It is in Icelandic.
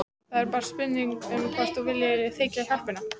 Það er bara spurning um hvort þú viljir þiggja hjálpina.